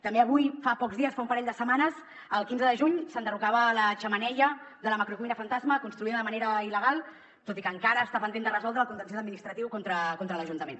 també avui fa pocs dies fa un parell de setmanes el quinze de juny s’enderrocava la xemeneia de la macrocuina fantasma construïda de manera il·legal tot i que encara està pendent de resoldre’s el contenciós administratiu contra l’ajuntament